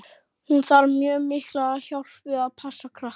Hún þarf mjög mikla hjálp við að passa krakkana.